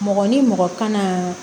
Mɔgɔ ni mɔgɔ kan na